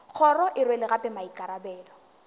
kgoro e rwele gape maikarabelo